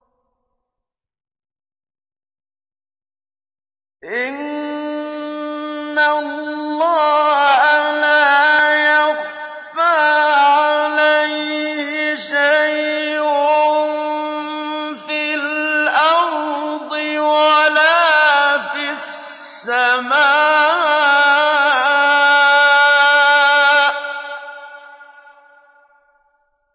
إِنَّ اللَّهَ لَا يَخْفَىٰ عَلَيْهِ شَيْءٌ فِي الْأَرْضِ وَلَا فِي السَّمَاءِ